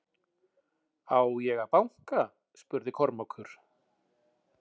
Á ég að banka spurði Kormákur.